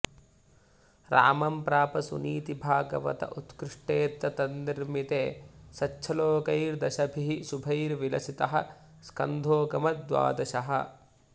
रामं प्राप सुनीतिभागवत उत्कृष्टेऽत्र तन्निर्मिते सच्छ्लोकैर्दशभिः शुभैर्विलसितः स्कन्धोऽगमद्द्वादशः